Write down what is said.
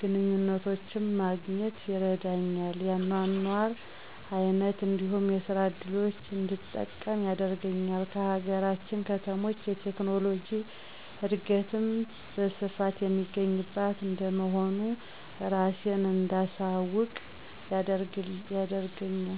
ግንኙነቶች ማግኘት ይረዳኛል፤ የአኗኗር አይነት እንዲሁም የስራ እድሎችን እንድጠቀም ያደርገኛል። ከሀገራችን ከተሞች የቴክኖሎጂ እድገትም በስፋት የሚገኝባት እንደመሆኑ እራሴን እንዳሳውቅ ያደርገኛል።